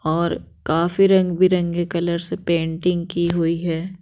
और काफी रंग बिरंगे कलर से पेंटिंग की हुई है।